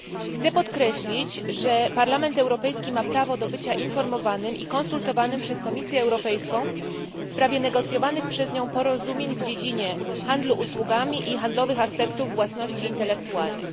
Chcę podkreślić, że Parlament Europejski ma prawo do bycia informowanym i konsultowanym przez Komisję Europejską w sprawie negocjowanych przez nią porozumień w dziedzinie handlu usługami i handlowych aspektów własności intelektualnej.